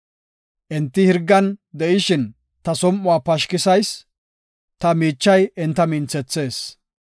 Enti hirgan de7ishin ta som7uwa pashkisayis; ta miichay enta minthethees.